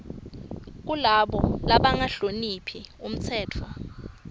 kulabo labangahloniphi umtsetfo